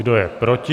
Kdo je proti?